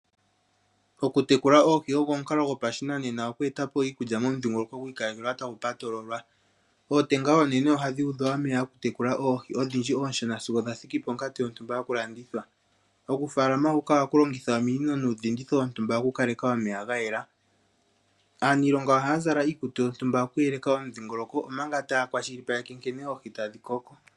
Okutekula oohi ogo omukalo gopashinanena oku eta po iikulya momudhingoloko gwi ikalekelwa tagu patololwa. Ootenga oonene ohadhi udhwa omeya okutekula oohi odhindji oonshona sigo dha thiki ponkatu yontumba yokulanditha. Okufaalama huka ohaku longitha ominino nuudhinditho wontumba okukaleka omeya ga yela. Aaniilonga ohaya zala iikutu yontumba okuyeleka omudhingoloko, omanga taya kwashilipaleke nkene oohi tadhi koko.